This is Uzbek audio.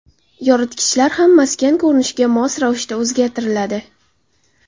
Yoritgichlar ham maskan ko‘rinishiga mos ravishda o‘zgartiriladi.